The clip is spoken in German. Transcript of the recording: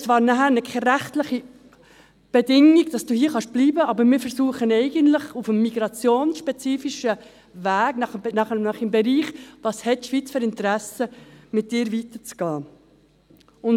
Damit hast du zwar keine rechtliche Bedingung, hier bleiben zu können, aber eigentlich versuchen wir, mit dir auf dem migrationsspezifischen Weg – im Bereich «Welches Interesse hat die Schweiz an dir?» – weiterzugehen.